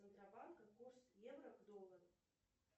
центробанка курс евро к доллару